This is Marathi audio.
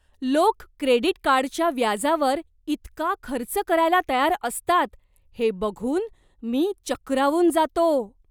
लोक क्रेडिट कार्डच्या व्याजावर इतका खर्च करायला तयार असतात हे बघून मी चक्रावून जातो.